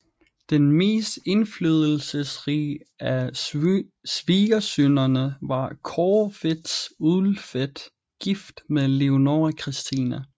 Den mest indflydelsesrige af svigersønnerne var Corfitz Ulfeldt gift med Leonora Christina